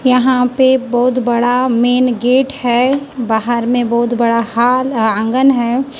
यहां पे बहुत बड़ा में हैं बाहर में बहुत बड़ा हॉल आंगन है।